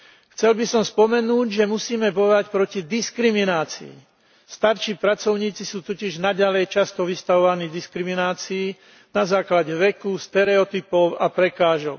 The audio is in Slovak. Chcel by som spomenúť, že musíme bojovať proti diskriminácii. Starší pracovníci sú totiž často naďalej vystavovaní diskriminácii na základe veku, stereotypov a prekážok.